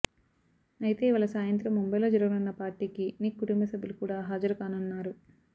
అయితే ఇవాళ సాయంత్రం ముంబైలో జరగనున్న పార్టీకి నిక్ కుటుంబసభ్యులు కూడా హాజరుకానున్నారు